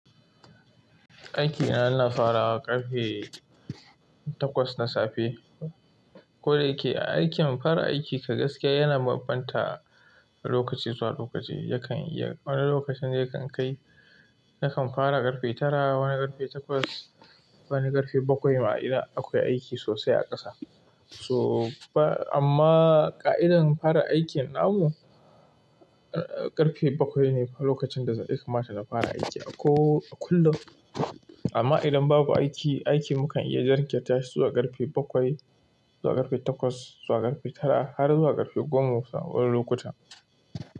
Aiki na ina farawa karfe twakas na safe ko da yake ai kyau kare aiki ka gaskiya yana banbanta lokaci zuwa lokaci, yakan iya, wani lokacin yakan kai, yakan fara ƙarfe tara, wani ƙarfe takwas, wani ƙarfe bakwai ma idan akwai aiki sosai a ƙasa. So amma yanayi fara aikin na mu ƙarfe bakwai ne lokacin da ya kamata na fara aiki a ko kullum. Amma idan babu aiki, aiki mukan iya jarkanta tashi zuwa ƙarfe bakwai, zuwa ƙarfe takwas, zuwa ƙarfe tara har zuwa ƙarfe goma wani lokuta.